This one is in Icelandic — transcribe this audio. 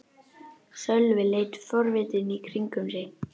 Sölvi leit forvitinn í kringum sig.